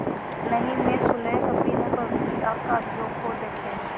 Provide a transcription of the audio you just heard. नहीं मैं सुलह कभी न करुँगी आप कागजों को देखें